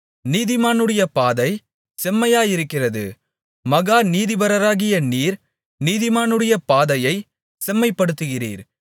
நீதிமானுடைய பாதை செம்மையாயிருக்கிறது மகா நீதிபரராகிய நீர் நீதிமானுடைய பாதையைச் செம்மைப்படுத்துகிறீர்